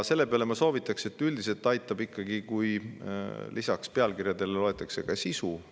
Seepeale on mul üks soovitus: üldiselt ikkagi aitab see, kui lisaks pealkirjadele loetakse sisu.